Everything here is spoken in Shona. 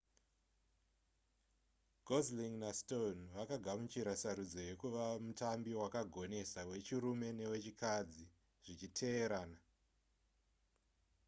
gosling nastone vakagamuchira sarudzo yekuva mutambi wakagonesa wechirume newechikadzi zvichiteerana